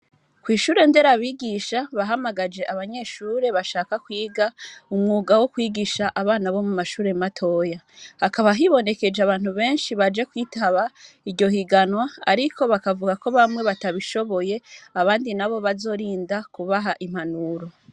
Kw'ishure ndera bigisha bahamagaje abanyeshure bashaka kwiga umwuga wo kwigisha abana bo mu mashure matoya hakaba hibonekeje abantu benshi baje kwitaba iryohiganwa, ariko bakavuga ko bamwe batabishoboye abandi na bo bazorinda kubaha impanuro.